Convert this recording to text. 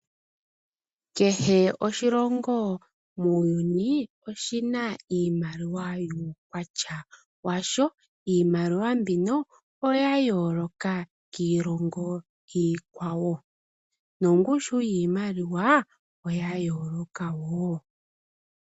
Kehe oshilongo muuyuni oshina iimaliwa yuukwatya washo. Iimaliwa mbino oya yooloka kiilongo iikwawo , nongushu yiimaliwa oya yooloka woo.